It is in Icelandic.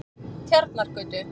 Tjarnargötu